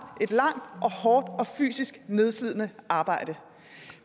et langt hårdt og fysisk nedslidende arbejde